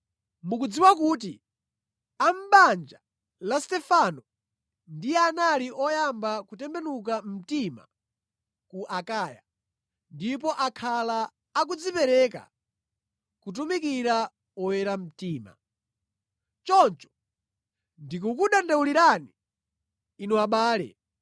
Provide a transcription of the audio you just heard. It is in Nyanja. Mukudziwa kuti a mʼbanja la Stefano ndiye anali oyamba kutembenuka mtima ku Akaya, ndipo akhala akudzipereka kutumikira oyera mtima. Choncho ndikukudandaulirani, inu abale,